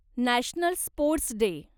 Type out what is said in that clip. national sports day